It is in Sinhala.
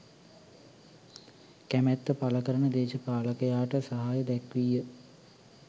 කැමැත්ත පළකරන දේශපාලකයාට සහාය දැක්වීය.